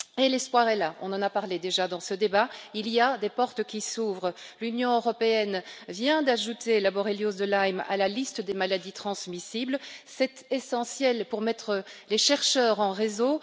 L'espoir est là on en a déjà parlé dans ce débat des portes s'ouvrent. L'Union européenne vient d'ajouter la borréliose de Lyme à la liste des maladies transmissibles, ce qui est essentiel pour mettre les chercheurs en réseau.